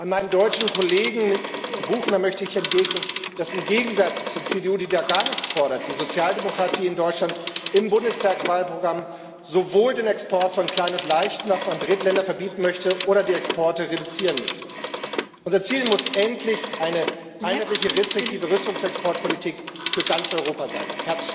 Meinem deutschen Kollegen, Herrn Buchner, möchte ich entgegnen, dass im Gegensatz zur CDU, die da gar nichts fordert, die Sozialdemokratie in Deutschland im Bundestagswahlprogramm sowohl den Export von Klein und Leichtwaffen an Drittländer verbieten möchte oder die Exporte reduzieren möchte. Unser Ziel muss endlich eine einheitliche restriktive Rüstungsexportpolitik für ganz Europa sein.